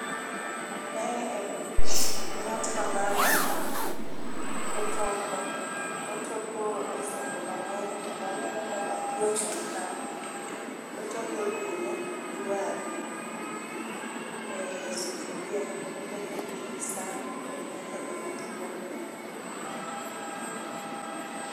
Mae en ng'at ma mama, otoko. Otoko e sende mang'eny kendo aneno ka nyathi ochung' kanyo. Otoko ring'o gi waru, e sufuria. To otoke gi san to en nyaka gi oludh kuon kanyo.